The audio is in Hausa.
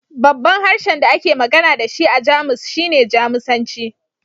Babban harshen da ake magana da shi a Jamus shine Jamusanci